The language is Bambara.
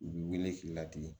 U bi weele k'i ladege